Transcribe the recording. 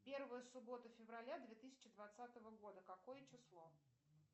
первая суббота февраля две тысячи двадцатого года какое число